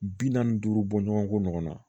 Bi naani ni duuru bɔ ɲɔgɔn ko ɲɔgɔn na